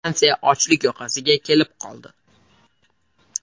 Fransiya ochlik yoqasiga kelib qoldi.